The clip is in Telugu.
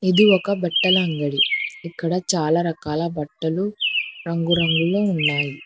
ఇది ఒక బట్టల అంగడి ఇక్కడ చాలా రకాల బట్టలు రంగురంగులో ఉన్నాయి.